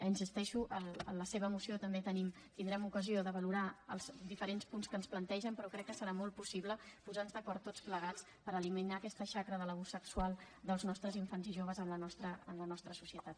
hi insisteixo amb la seva moció també tindrem ocasió de valorar els diferents punts que ens plantegen però crec que serà molt possible posar nos d’acord tots plegats per eliminar aquesta xacra de l’abús sexual dels nostres infants i joves en la nostra societat